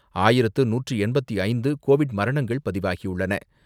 ஆயிரத்து நூற்று எண்பத்து ஐந்து கோவிட் மரணங்கள் பதிவாகியுள்ளன.